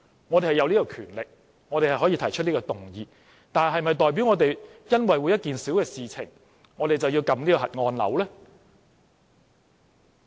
我們是擁有這種權力，可以提出動議，但是否代表我們會因為一件小事便按下"核按鈕"呢？